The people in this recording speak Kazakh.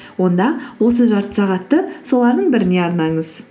онда осы жарты сағатты солардың біріне арнаңыз